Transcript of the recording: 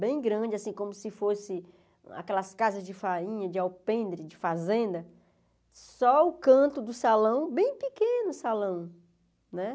bem grande, assim como se fosse aquelas casas de farinha, de alpendre, de fazenda, só o canto do salão, bem pequeno o salão, né?